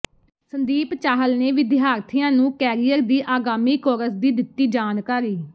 ਸੰਦੀਪ ਚਾਹਲ ਨੇ ਵਿਦਿਆਰਥੀਆਂ ਨੂੰ ਕੈਰੀਅਰ ਤੇ ਆਗਾਮੀ ਕੋਰਸ ਦੀ ਦਿੱਤੀ ਜਾਣਕਾਰੀ